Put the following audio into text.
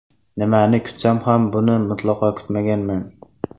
Nimani kutsam ham, buni mutlaqo kutmaganman.